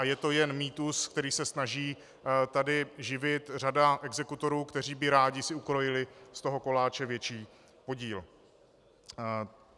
A je to jen mýtus, který se snaží tady živit řada exekutorů, kteří by si rádi ukrojili z toho koláče větší podíl.